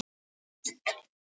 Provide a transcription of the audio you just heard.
Vinnustaður og hollusta